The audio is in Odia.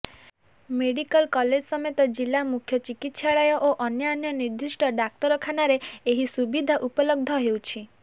ମେଡିକାଲ କଲେଜ ସମେତ ଜିଲ୍ଲା ମୁଖ୍ୟ ଚିକିତ୍ସାଳୟ ଓ ଅନ୍ୟାନ୍ୟ ନିର୍ଦ୍ଦିଷ୍ଟ ଡାକ୍ତରଖାନାରେ ଏହି ସୁବିଧା ଉପଲବ୍ଧ ହେଉଛି